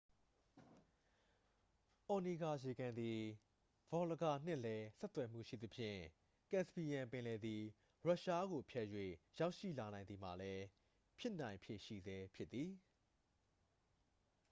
အော်နီဂါရေကန်သည် ဗော်လဂါနှင့်လည်း ဆက်သွယ်မှုရှိသဖြင့် ကပ်စပီယန်ပင်လယ်သည် ရုရှားကို ဖြတ်၍ရောက်ရှိလာနိုင်သည်မှာလည်း ဖြစ်နိုင်ဖြေရှိဆဲဖြစ်သည်